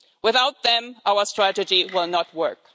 Without them, our strategy will not work.